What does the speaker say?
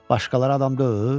Başqaları adam deyil?